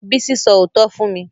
Bísí sọ òótọ́ fún mi